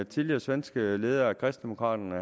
tidligere svenske leder af kristendemokraterne